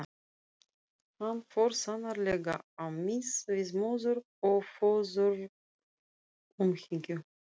Hann fór sannarlega á mis við móður- og föðurumhyggju.